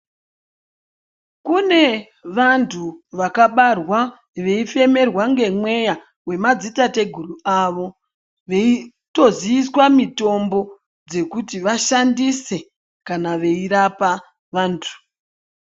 Kune vanthu vakabarwa veifemerwa ngemweya wemadzitateguru avo veitoziiswa mitombo dzekuti vashandise kana veirapa vanthu.